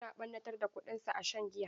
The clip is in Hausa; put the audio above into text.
Yana ɓannatar da kuɗinsa a shan giya.